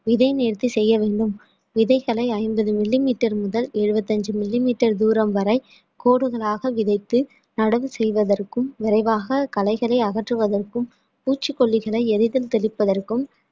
விதை நேர்த்தி செய்ய வேண்டும் விதைகளை ஐம்பது millimetre முதல் எழுபத்தி அஞ்சு millimetre தூரம் வரை கோடுகளாக விதைத்து நடவு செய்வதற்கும் விரைவாக கலைகளை அகற்றுவதற்கும் பூச்சிக்கொல்லிகளை எளிதில் தெளிப்பதற்கும்